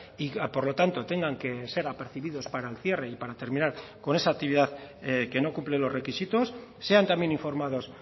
y por lo tanto tengan que ser apercibidos para el cierre y para terminar con esa actividad que no cumplen los requisitos sean también informados